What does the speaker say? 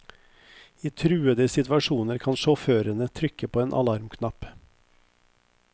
I truende situasjoner kan sjåførene trykke på en alarmknapp.